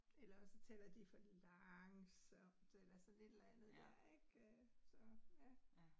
Eller også så taler de for langsomt eller sådan et eller andet der ik øh. Så ja